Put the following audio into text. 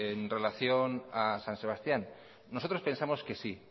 en relación a san sebastián nosotros pensamos que sí